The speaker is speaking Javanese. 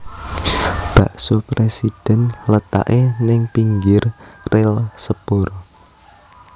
Bakso Presiden letake ning pinggir rel sepur